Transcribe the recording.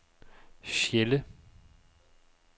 Sjelle